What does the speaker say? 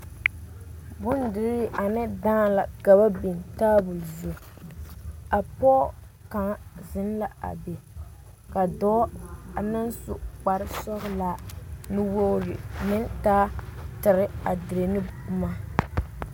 Bondirii ane dãã la ka ba biŋ taaboɔ zu a pɔɔ kaŋ zeŋ la a be ka dɔɔ a naŋ su kparesɔglaa nuwogre meŋ taa tire a dire ne boma.